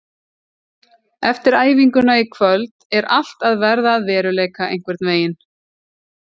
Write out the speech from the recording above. Eftir æfinguna í kvöld er allt að verða að veruleika einhvern veginn.